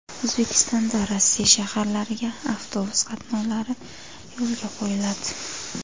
O‘zbekistondan Rossiya shaharlariga avtobus qatnovlari yo‘lga qo‘yiladi .